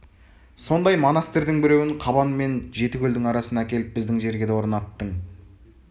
сондай монастырьдың біреуін қабан мен жетікөлдің арасына әкеліп біздің жерге де орнаттың